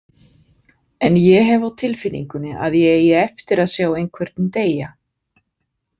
En ég hef á tilfinningunni að ég eigi eftir að sjá einhvern deyja.